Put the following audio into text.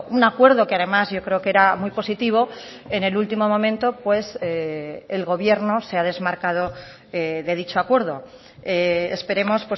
un acuerdo que además yo creo que era muy positivo en el último momento pues el gobierno se ha desmarcado de dicho acuerdo esperemos